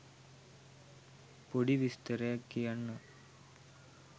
පොඩි විස්තරයක් කියන්නම්.